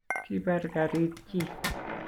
kibar karit chii